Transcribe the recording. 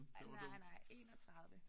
Nej nej 31